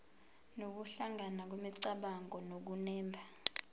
nokuhlangana kwemicabango nokunemba